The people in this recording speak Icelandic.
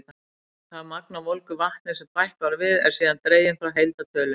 Það magn af volgu vatni sem bætt var við, er síðan dregið frá heildartölunni.